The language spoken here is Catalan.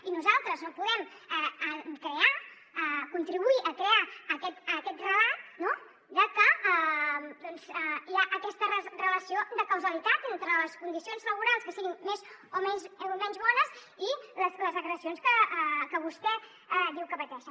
i nosaltres no podem crear contribuir a crear aquest relat no de que hi ha aquesta relació de causalitat entre les condicions laborals que siguin més o menys bones i les agressions que vostè diu que pateixen